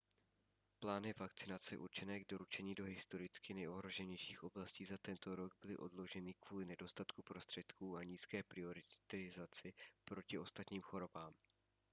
plány vakcinace určené k doručení do historicky nejohroženějších oblastí za tento rok byly odloženy kvůli nedostatku prostředků a nízké prioritizaci oproti ostatním chorobám